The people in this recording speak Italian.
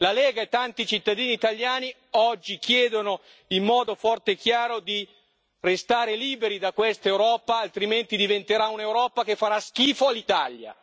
La Lega e tanti cittadini italiani oggi chiedono in modo forte e chiaro di restare liberi da questa Europa, altrimenti diventerà un'Europa che farà schifo all'Italia.